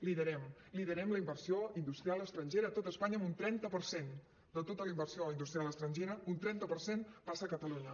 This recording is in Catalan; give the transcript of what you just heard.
liderem liderem la inversió industrial estrangera a tot espanya amb un trenta per cent de tota la inversió industrial estrangera un trenta per cent passa a catalunya